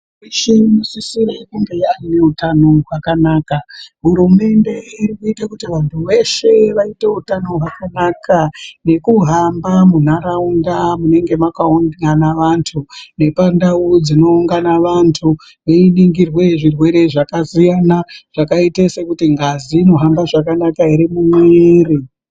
..yeshe inosisire kunge yaaneutano hwakanaka. Hurumende irikuite kuti vantu veshe vaite neutano hwakanaka nekuhamba munharaunda munenge makaungana vantu nepandau dzinounga vantu. Veiningirwe zvirwere zvakasiyana zvakaite sekuti ngazi inohamba zvakanaka here mumuiri.